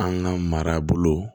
An ka marabolo